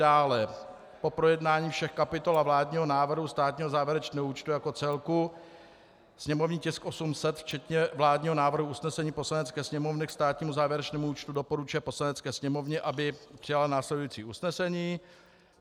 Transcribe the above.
dále po projednání všech kapitol a vládního návrhu státního závěrečného účtu jako celku (sněmovní tisk 800) včetně vládního návrhu usnesení Poslanecké sněmovny k státnímu závěrečnému účtu doporučuje Poslanecké sněmovně, aby přijala následující usnesení: